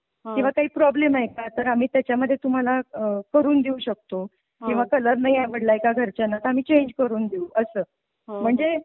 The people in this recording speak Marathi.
किंवा काही प्रॉब्लेम आहे का तर आम्ही त्याच्या मध्ये तुम्हाला करून देऊ शकतो किंवा कलर नाही आवडलाय का घरच्यांना तर आम्ही चेंज करून देऊ असं म्हणजे.